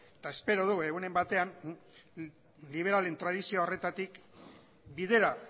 eta espero du egunen batean liberalen tradizio horretatik bidera